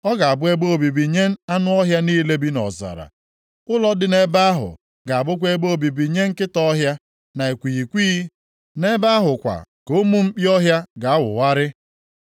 Ọ ga-abụ ebe obibi nye anụ ọhịa niile bi nʼọzara. Ụlọ dị nʼebe ahụ ga-abụkwa ebe obibi nye nkịta ọhịa, na ikwighịkwighị, nʼebe ahụ kwa ka ụmụ mkpi ọhịa ga na-awụgharị.